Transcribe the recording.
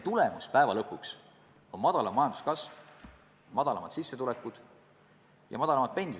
Tagajärg on väiksem majanduskasv, väiksemad sissetulekud ja väiksemad pensionid.